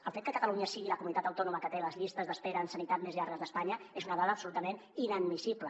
el fet que catalunya sigui la comunitat autònoma que té les llistes d’espera en sanitat més llargues d’espanya és una dada absolutament inadmissible